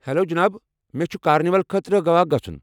Hello جناب، مےٚ چھُ کارنیول خٲطرٕ گوا گژُھن۔